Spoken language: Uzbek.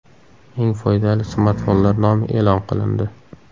Eng foydali smartfonlar nomi e’lon qilindi.